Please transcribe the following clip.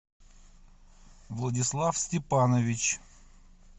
владислав степанович